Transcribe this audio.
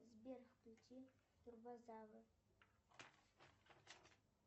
сбер включи турбозавр